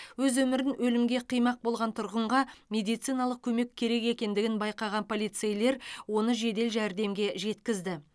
өз өмірін өлімге қимақ болған тұрғынға медициналық көмек керек екендігін байқаған полицейлер оны жедел жәрдемге жеткізді